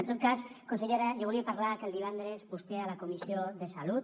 en tot cas consellera jo volia parlar que el divendres vostè a la comissió de salut